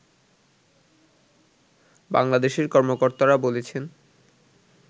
বাংলাদেশের কর্মকর্তারা বলেছেন